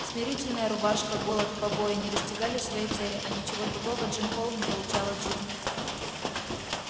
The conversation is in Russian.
смирительная рубашка голод побои не достигали своей цели а ничего другого джим холл не получал от жизни